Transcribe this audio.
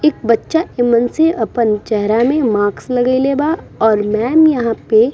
एक बच्चा एमन से अपन चेहरा में मास्क लगइले बा और मेम यहाँ पे --